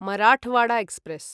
Marathwada express